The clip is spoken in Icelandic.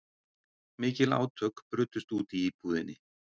Mikil átök brutust út í íbúðinni